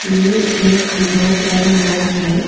ये एक बहुत बड़ा हॉल है।